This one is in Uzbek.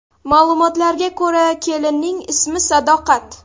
Ma’lumotlarga ko‘ra, kelinning ismi Sadoqat.